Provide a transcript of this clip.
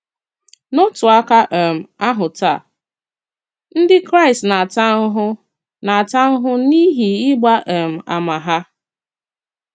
N’òtù àkà um ahụ taa, Ndị Kraịst nā-àta ahụhụ nā-àta ahụhụ n’ihi ịgba um àmà ha.